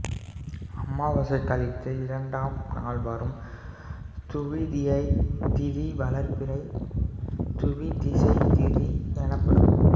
அமாவாசை கழித்து இரண்டாம் நாள் வரும் துவிதியைத் திதி வளர்பிறை துவிதியைத் திதி எனப்படும்